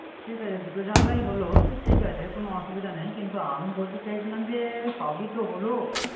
ঠিক আছে দুটো জানলা হলো। ঠিক আছে কোন অসুবিধা নাই। কিন্ত আমি বলতে চাইছিলাম যে সবই তো হলো।